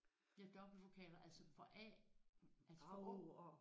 Ja dobbeltvokaler altså for A altså for Å og